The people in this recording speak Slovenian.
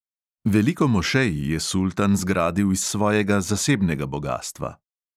Veliko mošej je sultan zgradil iz svojega zasebnega bogastva.